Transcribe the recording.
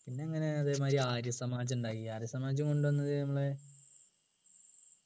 പിന്നെങ്ങനെ അതേമാതിരി ആര്യസമാജം ഉണ്ടാക്കി ആര്യ സമാജം കൊണ്ടുവന്നത് നമ്മളെ